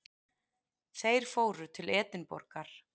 Þeir fóru til Edinborgar.